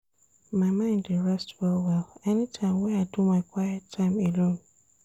My mind dey rest well-well anytime wey I do my quiet time alone.